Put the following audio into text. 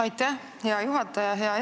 Aitäh, hea juhataja!